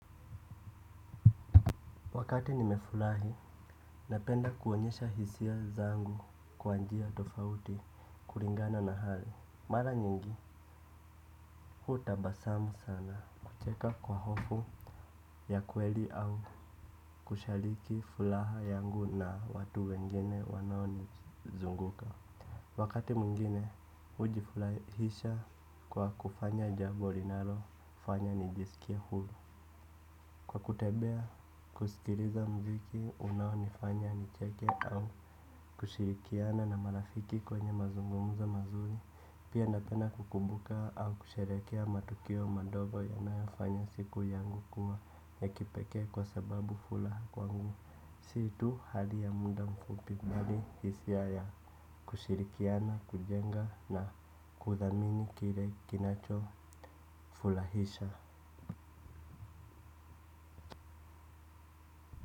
Wakati nimefurahi, napenda kuonyesha hisia zangu kwa njia tofauti kulingana na hali. Mara nyingi, hutabasamu sana kucheka kwa hofu ya kweli au kushiriki furaha yangu na watu wengine wanaonizunguka. Wakati mwingine, hujifurahisha kwa kufanya jambo linalofanya nijisikie huru. Kwa kutembea kusikiliza muziki unaonifanya nicheke au kushirikiana na marafiki kwenye mazungumzo mazuri pia napenda kukumbuka au kusherehekea matukio madongo yanayofanya siku yangu kuwa ya kipekee kwa sababu furaha kwangu sio tu hali ya muda mfupi bali hisia ya kushirikiana kujenga na kuthamini kile kinachofurahisha.